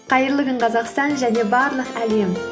қайырлы күн қазақстан және барлық әлем